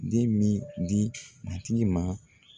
Den min di matigi ma